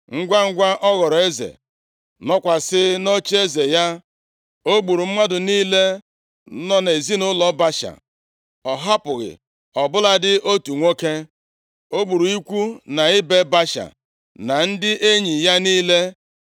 Ngwangwa ọ ghọrọ eze, nọkwasị nʼocheeze ya, o gburu mmadụ niile nọ nʼezinaụlọ Baasha. Ọ hapụghị ọ bụladị otu nwoke. O gburu ikwu na ibe Baasha, na ndị enyi ya niile.